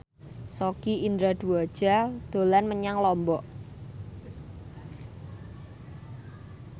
Sogi Indra Duaja dolan menyang Lombok